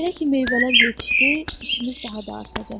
Elə ki meyvələr yetişdi, işimiz daha da artacaq.